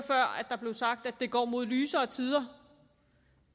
der blev sagt at det går mod lysere tider